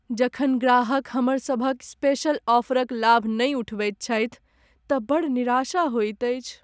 जखन ग्राहक हमरसभक स्पेशल ऑफरक लाभ नहि उठबैत छथि तँ बड़ निराशा होइत अछि।